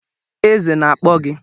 Eze na-akpọ gị